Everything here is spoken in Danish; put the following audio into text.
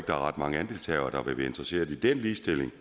ret mange andelshavere der vil være interesseret i den ligestilling